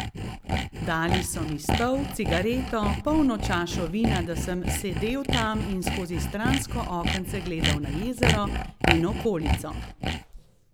Dali so mi stol, cigareto, polno čašo vina, da sem sedel tam in skozi stransko okence gledal na jezero in okolico.